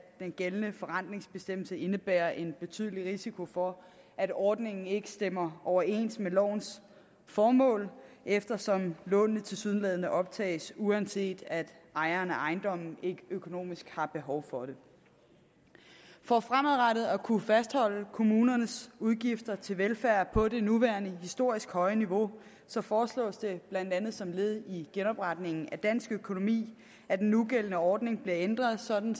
den gældende forrentningsbestemmelse indebærer en betydelig risiko for at ordningen ikke stemmer overens med lovens formål eftersom lånene tilsyneladende optages uanset at ejeren af ejendommen ikke økonomisk har behov for det for fremadrettet at kunne fastholde kommunernes udgifter til velfærd på det nuværende historisk høje niveau så foreslås det blandt andet som led i genopretningen af dansk økonomi at den nugældende ordning bliver ændret sådan